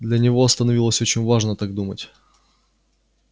для него становилось очень важно так думать